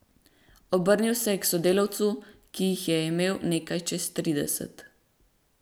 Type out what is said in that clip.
Obrnil se je k sodelavcu, ki jih je imel nekaj čez trideset.